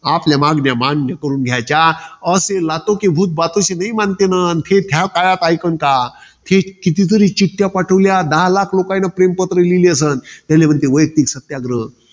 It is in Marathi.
आपल्या मागण्या मान्य करून घ्यायच्या. असले, हे कितीतरी चिठ्ठ्या पाठवल्या. दहा लाख रुपयान प्रेम पत्र लिहिलं असन. याला म्हणतात, वैयक्तिक सत्याग्रह.